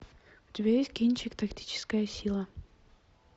у тебя есть кинчик тактическая сила